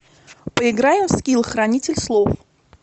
поиграем в скилл хранитель слов